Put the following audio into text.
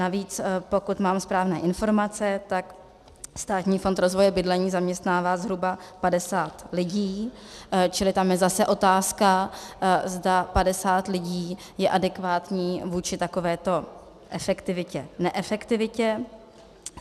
Navíc, pokud mám správné informace, tak Státní fond rozvoje bydlení zaměstnává zhruba 50 lidí, čili tam je zase otázka, zda 50 lidí je adekvátní vůči takovéto efektivitě-neefektivitě.